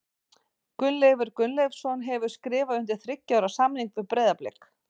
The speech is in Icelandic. Gunnleifur Gunnleifsson hefur skrifað undir þriggja ára samning við Breiðablik.